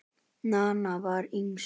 Nanna var yngst.